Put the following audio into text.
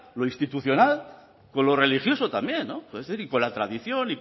lo institucional con lo religioso también y con la tradición